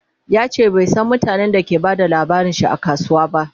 yace bai San mutanen da ke ta Bada labarinshi a kasuwa ba